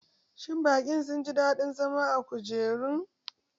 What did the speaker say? Shin bakin sun ji daɗin zama a kujerun?